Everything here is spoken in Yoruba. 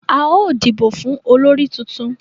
A yóò dibo fún olórí títún.